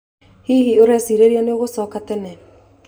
Hihi, ũreciria nĩ ũgũcoka tene?